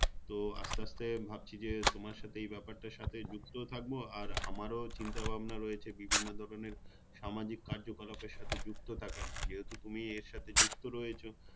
তো আস্তে আস্তে ভাবছি যে তোমার সাথে এই ব্যাপারটার সাথে যুক্তও থাকবো আর আমারও চিন্তাভাবনা রয়েছে বিভিন্ন ধরণের সামাজিক কার্যকলাপের সাথে যুক্ত থাকার যেহেতু তুমি এর সাথে যুক্ত রয়েছো